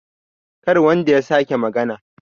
kar wanda ya sake magana!